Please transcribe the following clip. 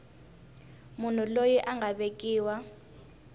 munhu loyi a nga vekiwa